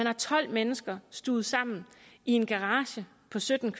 er tolv mennesker stuvet sammen i en garage på sytten